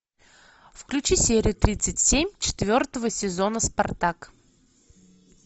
включи серию тридцать семь четвертого сезона спартак